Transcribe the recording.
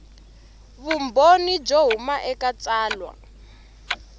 vumbhoni byo huma eka tsalwa